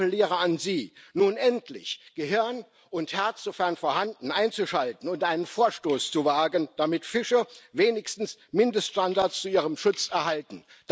Ich appelliere an Sie, nun endlich Gehirn und Herz, sofern vorhanden, einzuschalten und einen Vorstoß zu wagen, damit Fische wenigstens Mindeststandards zu ihrem Schutz erhalten.